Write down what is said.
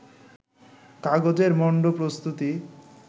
কাগজের মন্ড প্রস্তুতি